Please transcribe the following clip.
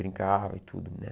Brincava e tudo né.